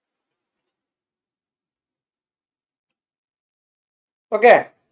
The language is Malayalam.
okay